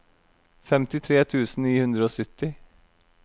femtitre tusen ni hundre og sytti